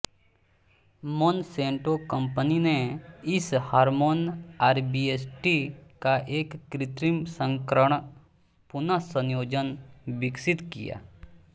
Monsanto company ने इस hormone RBST का एक कृत्रिम संस्करण पुनः संयोजन विकसित किया